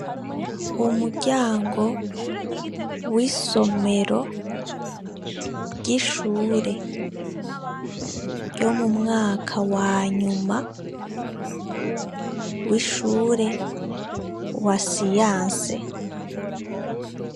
Umuryango w'isomero ry'ishure, ryo mu mwaka wanyuma w'ishure wa siyanse.